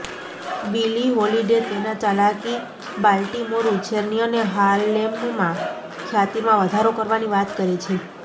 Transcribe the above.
બિલી Holiday તેના ચાલાકી Baltimore ઉછેરની અને હાર્લેમમાં ખ્યાતિમાં વધારો કરવાની વાત કરે છે